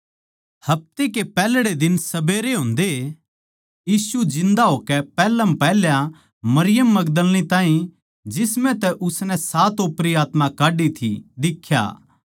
हफ्ते के पैहल्ड़े दिन सबेर होंदए यीशु जिन्दा होकै पैहलमपैहल्या मरियम मगदलीनी ताहीं जिसम्ह तै उसनै सात ओपरी आत्मा काड्डी थी दिख्या